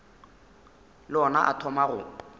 le ona a thoma go